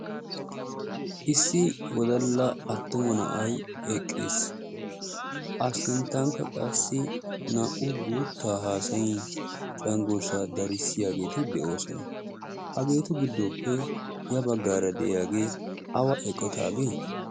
Issi wodalla attuma na"ayi eqqis. A sinttankka naa"u guuttaa haasayin cengurssaa darissiyageeti de"oosona. Hageetu giddoppe ya baggaara de"iyagee awa eqotaagee?